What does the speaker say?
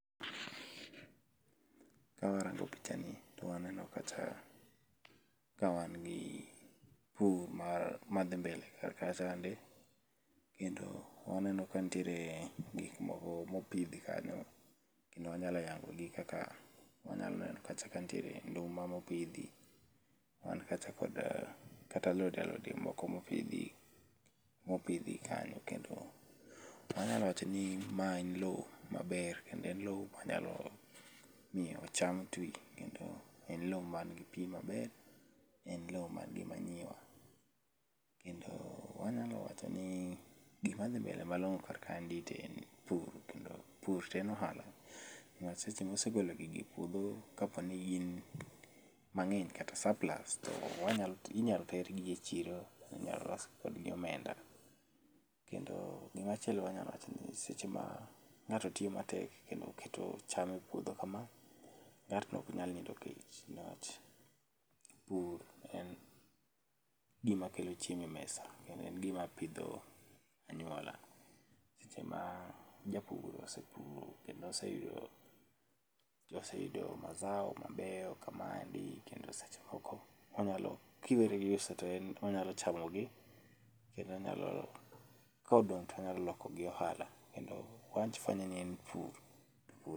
Kawarango pichani to waneno kacha ka wangi pur mar madhii mbele kar kachaende. Kendo waneno ka nitiere gik moko mopidhi kanyo kendo wanyalo yango gi kaka, wanyalo neno kacha kantiere nduma mopidhi. Wan kacha kod kata alode alode moko mopidhi mopidhi kanyo. Kendo anyalo wachoni mae en loo maber kendo en loo manyalo miyo cham tii kendo en loo ma gi pii maber en loo man gi manure. Kendo wanyalo wachoni gima dhi mbele malong'o kar kaendi to en pur, kendo pur to en ohala ma seche misegolo gigi epuodho kaponi gin mang'eny kata surplus wanyalo, inyal tergi echiro kendo inyalo los kodgi omenda kendo gima chielo manyalo wachoni seche ma ng'ato tiyo matek kendo keto cham epuodho kama ng'atno ok nyal nindo kech nikech pur en gima kelo chiemo emesa kendo en gima pidho anyuola. Seche ma japur osepuro kendo oseyudo oseyudo mazao mabeyo kamaendi kendo seche moko onyalo ki weri gi uso to en onyalo chamogi kendo onyalo kodong' to onyalo loko gi ohala kendo en pur.